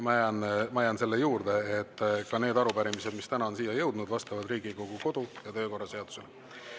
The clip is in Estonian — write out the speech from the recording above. Ma jään selle juurde, et ka need arupärimised, mis täna on siia jõudnud, vastavad Riigikogu kodu‑ ja töökorra seadusele.